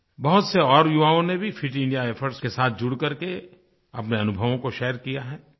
बहुत से और युवाओं ने भी फिट इंडिया इफोर्ट्स के साथ जुड़कर के अपने अनुभवों को शेयर किया है